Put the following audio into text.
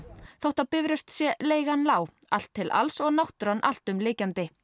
þótt á Bifröst sé leigan lág allt til alls og náttúran alltumlykjandi